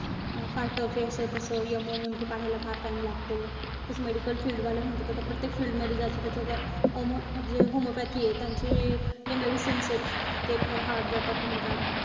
अं फार tough ए. असं-तसं. MONE, MTWO काढायला फार time लागतो. तसं medical field वाले म्हणतात. आता प्रत्येक field मध्ये ज्याचा त्याचा आता. omo जे homopathy ए. त्यांची जे medicines आहेत. ते फार hard जातात म्हणतात.